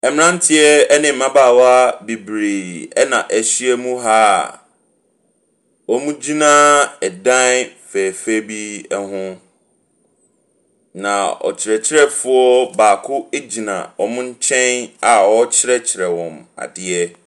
Mmeranteɛ ne mmabaawa bebree na ahyiam ha a wɔgyina dan fɛɛfɛɛ bi ho, na ɔkyerɛkyerɛfoɔ baako gyina wɔn nkyɛn a ɔrekyerɛkyerɛ wɔn adeɛ.